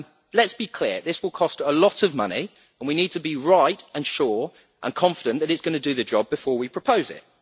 Let us be clear this will cost a lot of money and we need to be right, sure and confident that it is going to do the job before we propose